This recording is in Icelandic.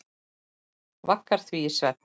Vaggar því í svefn.